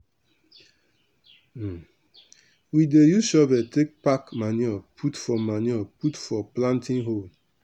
we dey use shovel take pack manure put for manure put for planting hole.